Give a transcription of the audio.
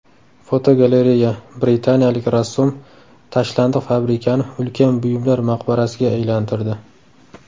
Fotogalereya: Britaniyalik rassom tashlandiq fabrikani ulkan buyumlar maqbarasiga aylantirdi.